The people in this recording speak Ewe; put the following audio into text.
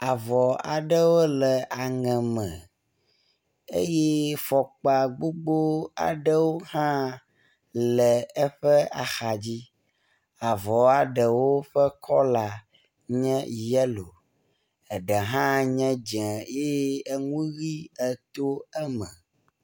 Avɔ aɖewo le aŋe me eye fɔkpa gbogbo aɖewo hã le eƒe axadzi. Avɔa ɖewo ƒe kɔla nye yelo eɖe hã nye dze eye enu ʋi eto eme.